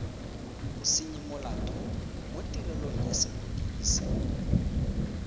bosenyimolato mo tirelong ya sepodisi